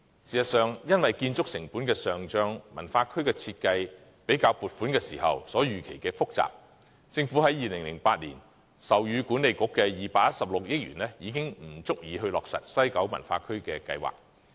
事實上，因為建築成本的上漲，西九文化區的設計又較撥款時所預期的複雜，政府在2008年授予西九管理局的216億元已經不足以落實計劃。